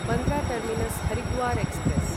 Bandra terminus Haridwar express